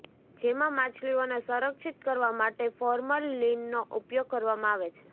જેમાં માછલીઓને સંરક્ષિત કરવા માટે ફોર્મલિનનો ઉપયોગ કરવામાં આવે છે